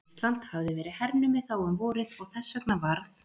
Ísland hafði verið hernumið þá um vorið og þess vegna varð